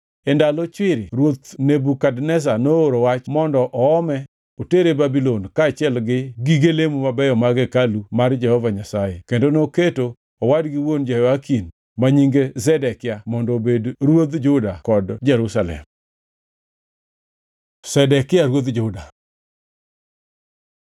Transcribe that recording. E ndalo chwiri ruoth Nebukadneza nooro wach mondo oome otere Babulon kaachiel gi gige lemo mabeyo mag hekalu mar Jehova Nyasaye kendo noketo owadgi wuon Jehoyakin, ma nyinge Zedekia mondo obed ruodh Juda kod Jerusalem. Zedekia ruodh Juda